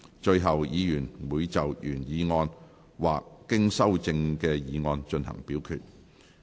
最後，議員會就原議案或經修正的議案進行表決。